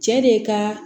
Cɛ de ka